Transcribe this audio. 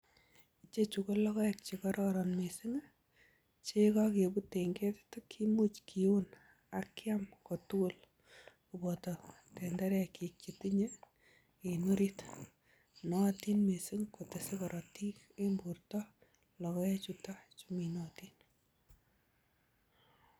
Icheju ko logoek che kororon mising. Che ye kogebut en ketit kimuch kiun ak kyam kotugul koboto tenderekyik chetinye en orit. Nootin mising kotese korotik en borto logoechutok chu minotin.